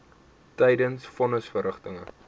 tydens von nisverrigtinge